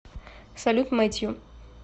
салют мэтью